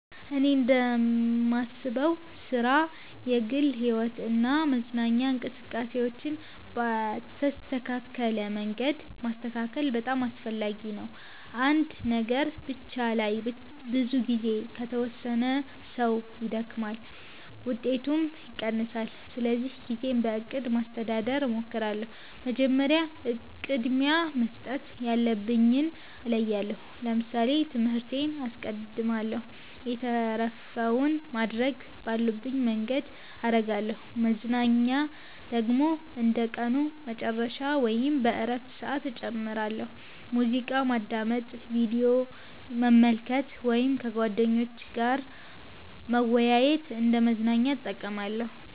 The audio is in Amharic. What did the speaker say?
እኔ እንደማስበው ሥራ፣ የግል ሕይወት እና መዝናኛ እንቅስቃሴዎችን በተስተካከለ መንገድ ማስተካከል በጣም አስፈላጊ ነው። አንድ ነገር ብቻ ላይ ብዙ ጊዜ ከተወሰነ ሰው ይደክማል፣ ውጤቱም ይቀንሳል። ስለዚህ ጊዜን በእቅድ ማስተዳደር እሞክራለሁ። መጀመሪያ ቅድሚያ መስጠት ያለብኝን እለያለሁ ለምሳሌ ትምህርቴን አስቀድማለሁ የተረፈውን ማድረግ ባለብኝ መንገድ አረጋለሁ መዝናኛ ደግሞ እንደ ቀኑ መጨረሻ ወይም በእረፍት ሰዓት እጨምራለሁ። ሙዚቃ ማዳመጥ፣ ቪዲዮ መመልከት ወይም ከጓደኞች ጋር መወያየት እንደ መዝናኛ እጠቀማለሁ።